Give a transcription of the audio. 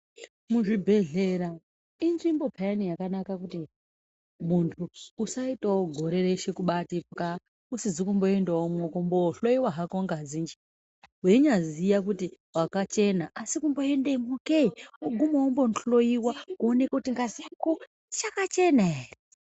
Muzvibhedhlera inzvimbo yakanaka piyani yekuti muntu usazoitawo gore reshe kuti pwaa usizi kumboendamwowo kumbohloiwa ngazi nje weinyaziya kuti wakachena asi kungoendamowo ke woguma wondohloiwa woonekwa kuti ngazi yako ichakachena here.